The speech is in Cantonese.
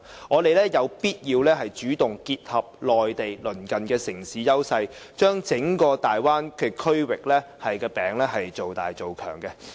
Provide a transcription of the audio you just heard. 我們有必要主動結合內地鄰近城市的優勢，把整個大灣區的"餅"造大造強。